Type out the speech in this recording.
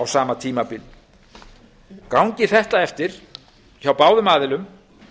á sama tímabili gangi þetta eftir hjá báðum aðilum